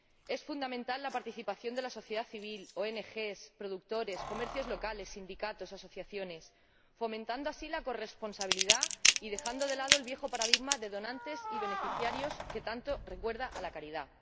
Es fundamental la participación de la sociedad civil, ONG, productores, comercios locales, sindicatos, asociaciones, fomentando así la corresponsabilidad y dejando de lado el viejo paradigma de donantes y beneficiarios que tanto recuerda a la caridad.